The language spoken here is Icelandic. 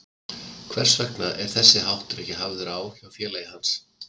Hvers vegna er þessi háttur ekki hafður á hjá félagi hans?